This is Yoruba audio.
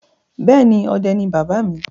Bẹ́ẹ̀ ni, ọdẹ ni bàbá mi.